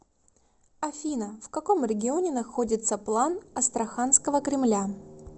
афина в каком регионе находится план астраханского кремля